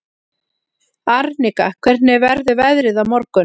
Arnika, hvernig verður veðrið á morgun?